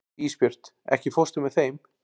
Ísbjört, ekki fórstu með þeim?